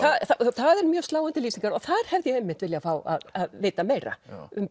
það eru mjög sláandi lýsingar og þar hefði ég einmitt viljað fá að vita meira